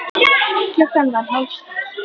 Klukkan varð hálf sex.